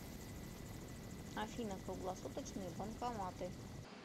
афина круглосуточные банкоматы